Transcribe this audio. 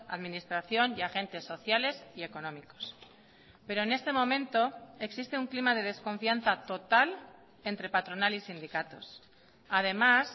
administración y agentes sociales y económicos pero en este momento existe un clima de desconfianza total entre patronal y sindicatos además